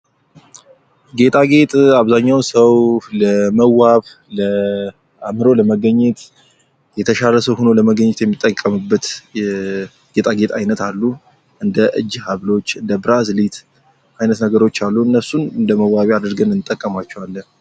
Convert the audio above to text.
ጌጣጌጥ አብዛኛው ሰው ለመዋብ ፣አምሮ ለመገኘት፣ የተሻለ ሰው ሆኖ ለመገኘት የሚጠቀምበት የጌጣጌጥ አይነት አንዱ እንደ እጅ ሀብሎች፣ እንደ ብራዘሌት አይነት ነገሮች አሉ። እነሱን እንደ መዋቢያ አድርገን እንጠቀምባቸዋለን።